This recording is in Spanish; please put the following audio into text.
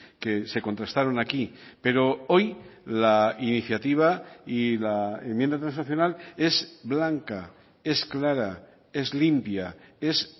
que se contrastaron aquí pero hoy la iniciativa y la enmienda transaccional es blanca es clara es limpia es